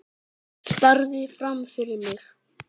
Starði fram fyrir mig.